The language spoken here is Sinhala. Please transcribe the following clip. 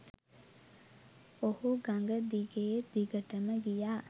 ඔහු ගඟ දිගේ දිගටම ගියා.